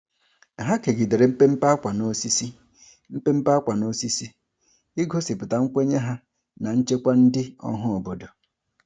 Ha kegidere mpempe ákwà n'osisi, mpempe ákwà n'osisi, igosipụta nkwenye ha na nchekwa ndị ọhaobodo.